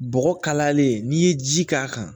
Bɔgɔ kalayalen n'i ye ji k'a kan